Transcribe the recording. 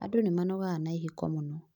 Andũ nĩmanogaga na ihiko mũno